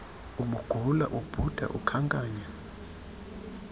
ubugula ubhuda ukhankanya